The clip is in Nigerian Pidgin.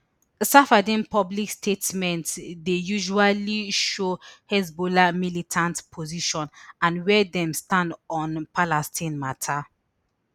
safieddine public statements dey usually show hezbollah militant position and wia dem stand on palestine mata